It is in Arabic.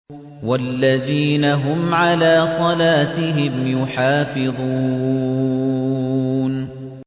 وَالَّذِينَ هُمْ عَلَىٰ صَلَاتِهِمْ يُحَافِظُونَ